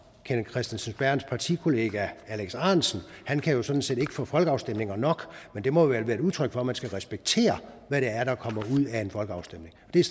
kenneth kristensen berths partikollega herre alex ahrendtsen han kan jo sådan set ikke få folkeafstemninger nok men det må vel være et udtryk for at man skal respektere hvad det er der kommer ud af en folkeafstemning det er